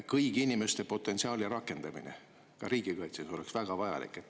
Kõigi inimeste potentsiaali rakendamine oleks ka riigikaitses väga vajalik.